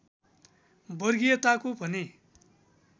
वर्गीयताको भने